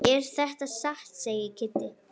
Er þetta satt? segir Kiddi.